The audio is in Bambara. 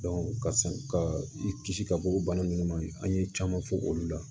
ka i kisi ka bɔ bana nunnu ma an ye caman fɔ olu la